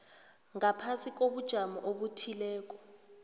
ngaphasi kobujamo obuthileko